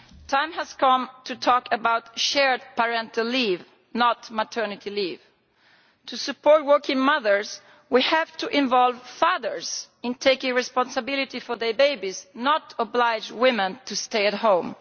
Mr President, the time has come to talk about shared parental leave, not maternity leave. To support working mothers we have to involve fathers in taking responsibility for their babies, not oblige women to stay at home.